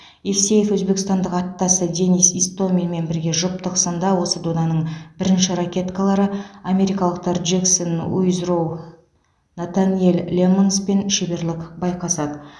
евсеев өзбекстандық аттасы денис истоминмен бірге жұптық сында осы доданың бірінші ракеткалары америкалықтар джексон уизроу натаниэл лэммонспен шеберлік байқасады